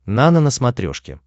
нано на смотрешке